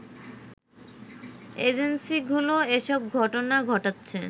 এজেন্সিগুলো এসব ঘটনা ঘটাচ্ছে